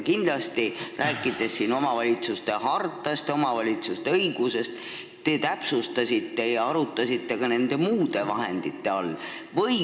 Kindlasti, rääkides omavalitsuse hartast ja omavalitsuste õigusest, te seal täpsustasite ja arutasite, mida võiks mõelda nende muude vahendite all.